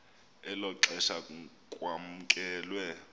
elo xesha kwamkelwe